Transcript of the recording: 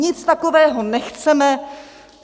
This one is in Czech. Nic takového nechceme.